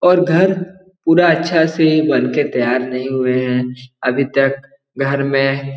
और घर पूरा अच्छा से बनके तैयार नहीं हुए हैं अभी तक घर में --